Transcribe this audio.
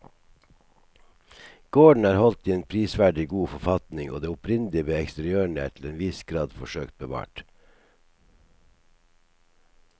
Gården er holdt i en prisverdig god forfatning og det opprinnelige ved eksteriørene er til en viss grad forsøkt bevart.